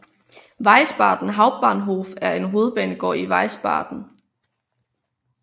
Wiesbaden Hauptbahnhof er hovedbanegård i Wiesbaden